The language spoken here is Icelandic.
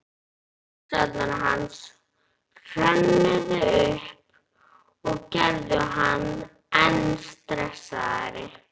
Hugsanir hans hrönnuðust upp og gerðu hann enn stressaðri.